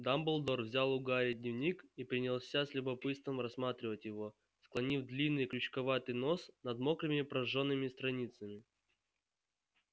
дамблдор взял у гарри дневник и принялся с любопытством рассматривать его склонив длинный крючковатый нос над мокрыми прожжёнными страницами